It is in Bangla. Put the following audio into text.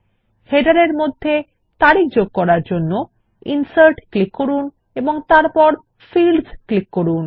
শিরোলেখ এর মধ্যে তারিখ এ যোগ করার জন্য ইনসার্ট ক্লিক করুন এবং তারপর ফিল্ডস বিকল্পে ক্লিক করুন